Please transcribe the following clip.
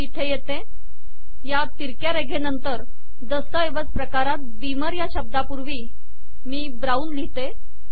मी इथे येते या तिरक्या रेघेनंतर दस्तऐवज प्रकारात बीमर या शब्दापूर्वी मी ब्राऊन लिहिते